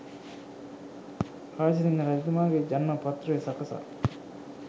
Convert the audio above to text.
රාජසිංහ රජතුමාගේ ජන්ම පත්‍රය සකසා